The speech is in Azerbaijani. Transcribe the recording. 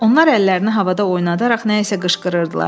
Onlar əllərini havada oynadaraq nə isə qışqırırdılar.